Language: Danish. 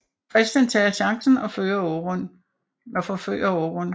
Christian tager chancen og forfører Aaron